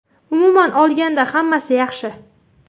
Umuman olganda, hammasi yaxshi.